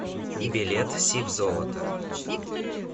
билет сибзолото